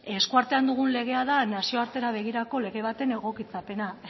eskuartean dugun legea da nazioartera begirako lege baten egokitzapena